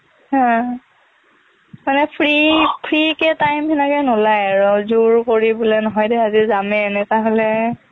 হম মানে free free কে time হেনেকে নোলায় আৰুজোৰ কৰি বোলে নহয় দেই আজি যামেই এনেকুৱা হ'লেহে